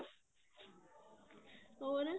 ਹੋਰ